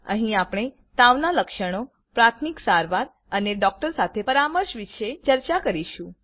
અહી આપણે તાવના લક્ષણોપ્રાથમિક સારવાર અને ડોક્ટર સાથે પરામર્શ વિષે ચર્ચા કરીશું